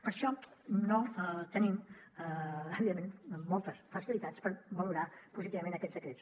per això no tenim evidentment moltes facilitats per valorar positivament aquests decrets